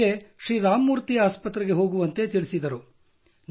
ಅವರು ನನಗೆ ಶ್ರೀರಾಮ ಮೂರ್ತಿ ಆಸ್ಪತ್ರೆಗೆ ಹೋಗುವಂತೆ ತಿಳಿಸಿದರು